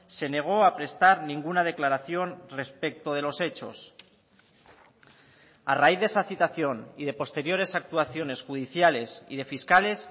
se negó a prestar ninguna declaración respecto de los hechos a raíz de esa citación y de posteriores actuaciones judiciales y de fiscales